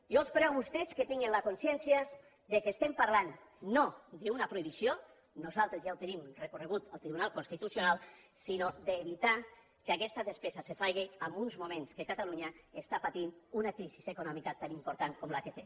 jo els prego a vostès que tinguin la consciència que parlem no d’una prohibició nosaltres ja ho tenim recorregut al tribunal constitucional sinó d’evitar que aquesta despesa es faci en uns moments que catalunya pateix una crisi econòmica tan important com la que té